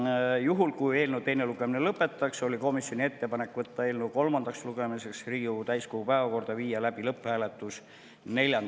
Ja juhul kui eelnõu teine lugemine lõpetatakse, oli komisjoni ettepanek võtta eelnõu kolmandaks lugemiseks Riigikogu täiskogu päevakorda 4. detsembril ja viia läbi lõpphääletus.